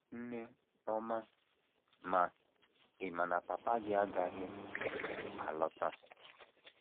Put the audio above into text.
Nne ọma, ma, ị̀ ma na papa gị agaghị alọta? ”